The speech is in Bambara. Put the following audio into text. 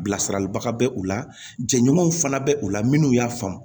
Bilasiraliba bɛ u la jɛɲɔgɔnw fana bɛ u la minnu y'a faamu